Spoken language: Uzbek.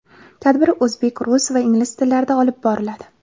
Tadbir o‘zbek, rus va ingliz tillarida olib boriladi.